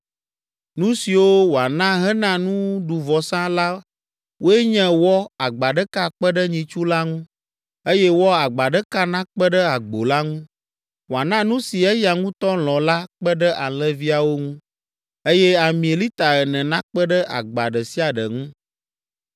Nu siwo wòana hena nuɖuvɔsa la woe nye wɔ agba ɖeka kpe ɖe nyitsu la ŋu, eye wɔ agba ɖeka nakpe ɖe agbo la ŋu, wòana nu si eya ŋutɔ lɔ̃ la kpe ɖe alẽviawo ŋu, eye ami lita ene nakpe ɖe agba ɖe sia ɖe ŋu.